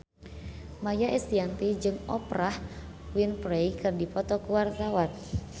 Maia Estianty jeung Oprah Winfrey keur dipoto ku wartawan